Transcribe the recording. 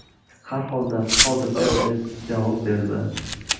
Har holda, hozircha”, deb javob berdi.